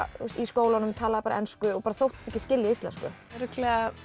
í skólanum talaði bara ensku og þóttist ekki skilja íslensku örugglega